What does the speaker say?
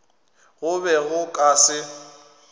go be go ka se